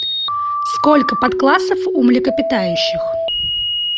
сколько подклассов у млекопитающих